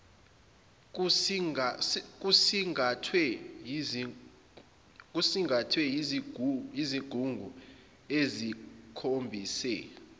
kusingathwe yizigungu ezikhombise